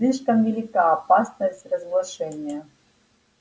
слишком велика опасность разглашения